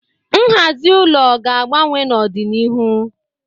Nhazi ụlọ ga-agbanwe n'ọdịnihu.